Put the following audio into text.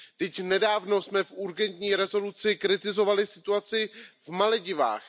Vždyť nedávno jsme v urgentní rezoluci kritizovali situaci na Maledivách.